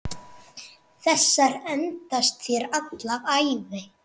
Þessar endast þér alla ævi.